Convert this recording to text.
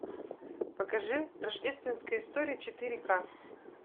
покажи рождественская история четыре ка